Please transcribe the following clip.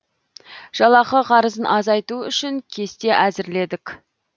жалақы қарызын азайту үшін кесте әзірледік